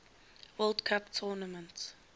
world cup tournament